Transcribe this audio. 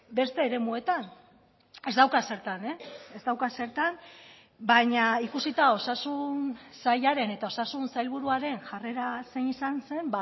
beste eremuetan ez dauka zertan ez dauka zertan baina ikusita osasun sailaren eta osasun sailburuaren jarrera zein izan zen